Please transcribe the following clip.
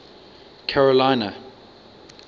carolina